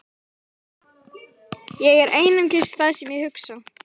Ég er einungis það sem ég hugsa.